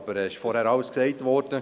Es ist vorhin alles gesagt worden.